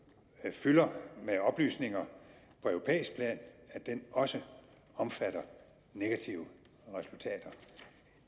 fylder med oplysninger på europæisk plan også omfatter negative resultater